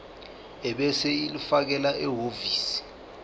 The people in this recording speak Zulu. ebese ulifakela ehhovisi